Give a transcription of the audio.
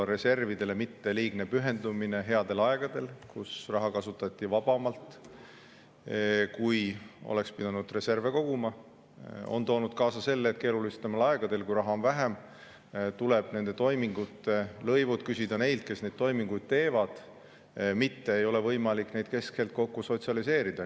– reservidele mitte liigne pühendumine headel aegadel, kui raha kasutati vabamalt, aga oleks pidanud reserve koguma, on toonud kaasa selle, et keerulisematel aegadel, kui raha on vähem, tuleb nende toimingute lõivud küsida neilt, kes neid toiminguid teevad, mitte ei ole võimalik neid keskelt kokku sotsialiseerida.